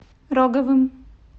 роговым